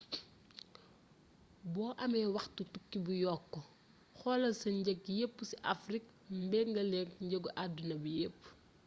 bo amé waxtu tukki bu yokk xoolal sa njëg yepp ci africa méngeelék njeegu adduna bi yeepp